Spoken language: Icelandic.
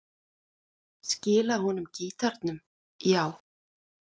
Skila honum gítarnum, já.